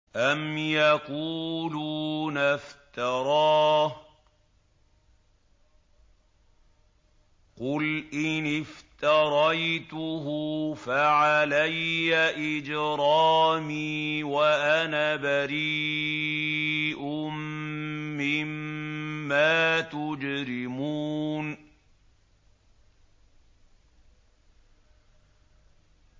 أَمْ يَقُولُونَ افْتَرَاهُ ۖ قُلْ إِنِ افْتَرَيْتُهُ فَعَلَيَّ إِجْرَامِي وَأَنَا بَرِيءٌ مِّمَّا تُجْرِمُونَ